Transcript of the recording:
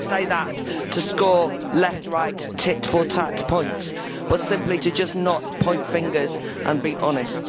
I don't say that to score left right tit-for-tat points, but simply to just not point fingers and to be honest.